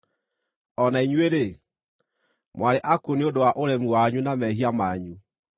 O na inyuĩ-rĩ, mwarĩ akuũ nĩ ũndũ wa ũremi wanyu na mehia manyu,